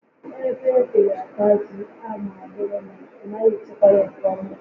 Ebe ga-ata ji a ma ọ bụrụ na ị naghị echekwa ya nke ọma